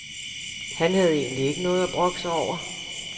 Han havde egentlig ikke noget at brokke sig over.